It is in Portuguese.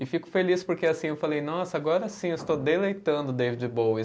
E fico feliz porque assim eu falei, nossa, agora sim eu estou deleitando David Bowie.